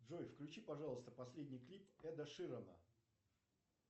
джой включи пожалуйста последний клип эда ширана